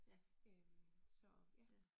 Øh, så, ja